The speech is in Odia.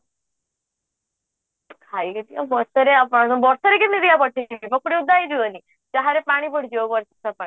ଖାଇ ଦେଉଛି ଆଉ ବର୍ଷା ରେ ବର୍ଷାରେ କେମିତି ବା ମୁଁ ପଠେଇବି ପକୁଡି ଓଦା ହେଇଯିବନି ଚାହା ରେ ପାଣି ପଡିଯିବ ବର୍ଷା ପାଣି